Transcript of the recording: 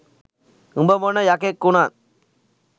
උඹ මොන යකෙක් වුනත්